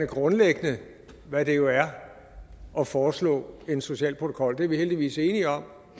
grundlæggende hvad det jo er at foreslå en social protokol det er vi heldigvis enige om